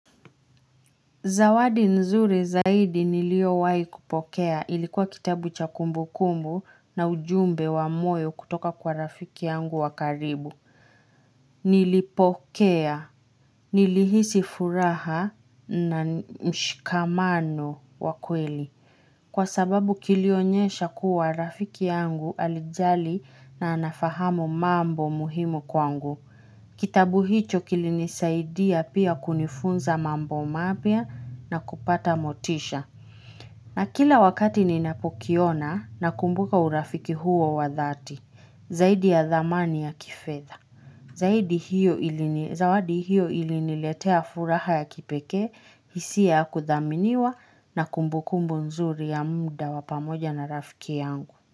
Zawadi nzuri zaidi nilio wai kupokea ilikuwa kitabu cha kumbu kumbu na ujumbe wa moyo kutoka kwa rafiki yangu wa karibu. Nilipokea, nilihisi furaha na mshikamano wa kweli. Kwa sababu kilionyesha kuwa rafiki yangu alijali na anafahamu mambo muhimu kwangu. Kitabu hicho kilinisaidia pia kunifunza mambo mapya na kupata motisha. Na kila wakati ninapokiona na kumbuka urafiki huo wa dhati, zaidi ya dhamani ya kifedha Zawadi hiyo iliniletea furaha ya kipeke, hisia ya kuthaminiwa na kumbukumbu nzuri ya muda wapamoja na rafiki yangu.